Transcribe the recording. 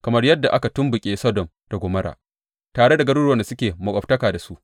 Kamar yadda aka tumɓuke Sodom da Gomorra, tare da garuruwan da suke maƙwabtaka da su,